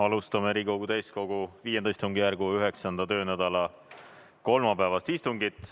Alustame Riigikogu täiskogu V istungjärgu 9. töönädala kolmapäevast istungit.